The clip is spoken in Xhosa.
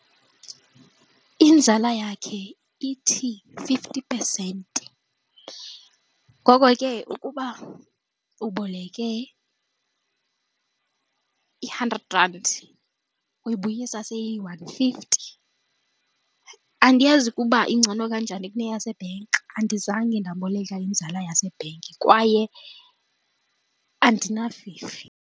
Inzala yakhe ithi fifty percent. Ngoko ke ukuba uboleke i-hundred rand uyibuyisa seyi yi-one fifty. Andiyazi ukuba ingcono kanjani kune yasebhenki andizange ndaboleka inzala yasebhenki kwaye andinafifi.